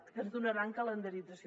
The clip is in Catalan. que ens donaran calendarització